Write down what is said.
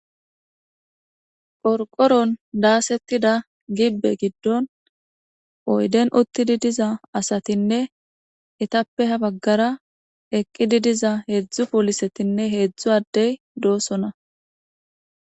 Qorqoron daasettida gibbe giddon oyden uttidi diza asatinne etappe ha baggara eqqidi diza heedzdzu poolisetinne heedzdzu addey doosona.